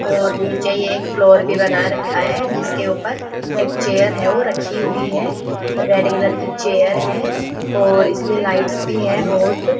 और नीचे एक फ्लोर भी बना रखा है जिसके ऊपर एक चेयर है वो रखी हुई है रेड कलर की चेयर है और इसमें लाइट्स भी हैं बहुत।